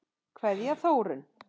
Kveðja, Þórunn.